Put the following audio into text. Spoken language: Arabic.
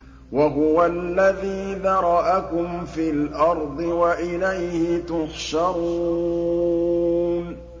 وَهُوَ الَّذِي ذَرَأَكُمْ فِي الْأَرْضِ وَإِلَيْهِ تُحْشَرُونَ